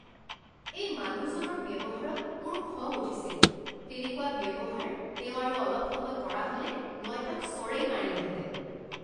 এই মানুহজনৰ ব্যৱহাৰত মোৰ খং উঠিছিল। তেনেকুৱা ব্যৱহাৰ তেওঁ আৰু অলপ সময় কৰা হ'লে মই তেওঁক চৰেই মাৰিলোঁহেঁতেন।